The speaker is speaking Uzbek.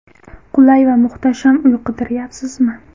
Qulay va muhtasham uy qidiryapsizmi?